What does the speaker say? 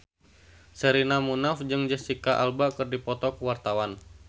Sherina Munaf jeung Jesicca Alba keur dipoto ku wartawan